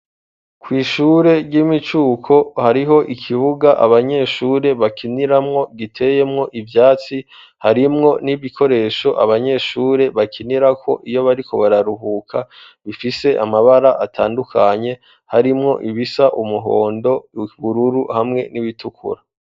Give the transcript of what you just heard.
Kwishure ry'imicuko hariho ikibuga abanyeshure bakiniramwo giteyemwo ivyatsi harimwo n'ibikoresho abanyeshure bakinirako iyo bariko bararuhuka bifise amabara atandukanye harimwo ibisa umuhondo, ibururu, hamwe n'ibitukura.